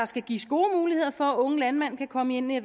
skal gives gode muligheder for at unge landmænd kan komme ind i